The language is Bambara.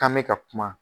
K'an bɛ ka kuma